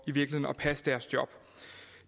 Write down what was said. at passe deres job